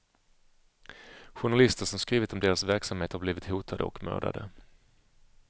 Journalister, som skrivit om deras verksamhet har blivit hotade och mördade.